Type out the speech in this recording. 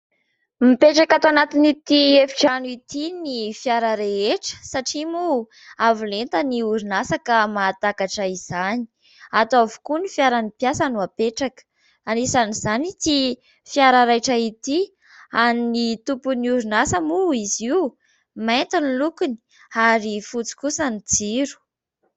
Mipetraka ato anatin'ity efitrano ity ny fiara rehetra satria moa avolenta ny orinasa ka mahatakatra izany ato avokoa ny fiaran'ny mpiasa no apetraka. Anisan'izany ity fiara raitra ity, an'ny tompon'ny orinasa moa izy io, mainty ny lokony ary fotsy kosa ny jiro.